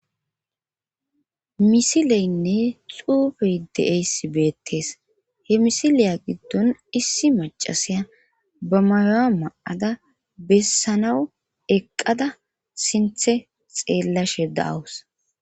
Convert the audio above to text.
misileynne xuufey de7eyssi beettees he misileya giddon issi macasiya ba mayoa ma7ada bessanaw eqqada sinthe xeellashe daawus